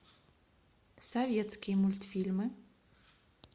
советские мультфильмы